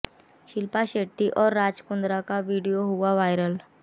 शिल्पा शेट्टी और राज कुंद्रा का वीडियो हुआ वायरल